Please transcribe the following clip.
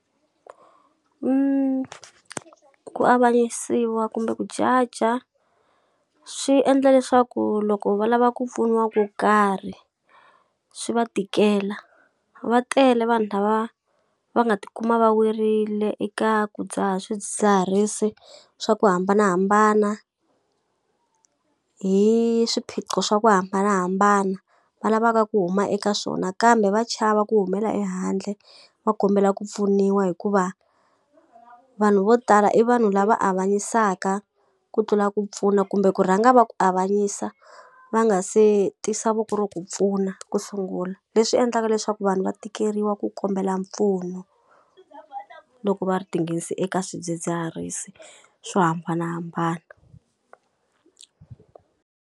ku avanyisiwa kumbe ku judge-a swi endla leswaku loko va lava ku pfuniwa ku karhi, swi va tikela. Va tele vanhu lava va nga ti kuma va werile eka ku dzaha swidzidziharisi swa ku hambanahambana, hi swiphiqo swa ku hambanahambana, va lavaka ku huma eka swona kambe va chava ku humela ehandle va kombela ku pfuniwa hikuva, vanhu vo tala i vanhu lava a vanyisaka ku tlula ku pfuna kumbe ku rhanga va ku avanyisa va nga se tisa voko ro ku pfuna ku sungula. Leswi endlaka leswaku vanhu va tikeriwa ku kombela mpfuno loko va tinghenisa eka swidzidziharisi swo hambanahambana.